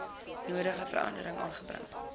nodige veranderinge aanbring